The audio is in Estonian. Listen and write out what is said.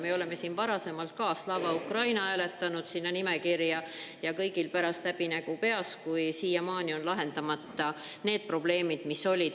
Me oleme siin varasemalt Slava Ukraini hääletanud sinna nimekirja ja kõigil on häbi, et siiamaani on lahendamata need probleemid, mis olid.